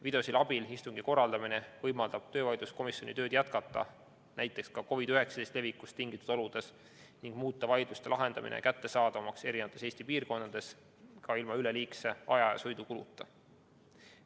Videosilla abil istungi korraldamine võimaldab töövaidluskomisjonil tööd jätkata näiteks ka COVID-19 levikust tingitud oludes ning muuta vaidluste lahendamine kättesaadavamaks erinevates Eesti piirkondades ka ilma üleliigse aja- ja sõidukuluta.